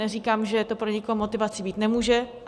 Neříkám, že to pro nikoho motivací být nemůže.